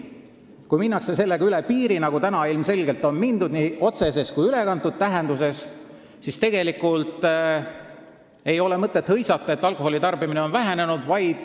Kui sellega minnakse üle piiri – nagu nüüd ilmselgelt on mindud, nii otseses kui ka ülekantud tähenduses –, siis ei ole mõtet hõisata, et alkoholitarbimine on vähenenud.